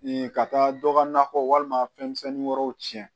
ka taa dɔ ka nakɔ walima fɛnmisɛnnin wɛrɛw cɛn